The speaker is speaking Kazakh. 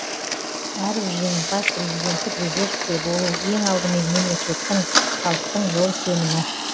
әрбір жеңімпаз президенттік резервте болу ең алдымен мемлекеттің халықтың зор сенімі